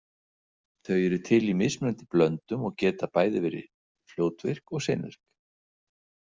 Þau eru til í mismunandi blöndum og geta verið bæði fljótvirk og seinvirk.